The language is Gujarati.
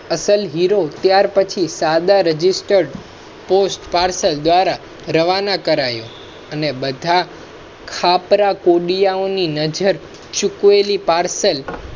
હાંસલ હીરો ત્યાર પછી સાધના રજીસ્ટર પોસ્ટ પાર્સલ દ્વારા રવા ના કરાયો અને બધા. ખપરેકોડિયાઓ ની નજર ચુકવેલી પાર્સલ